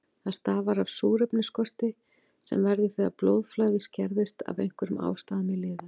Það stafar af súrefnisskorti sem verður þegar blóðflæði skerðist af einhverjum ástæðum í liðum.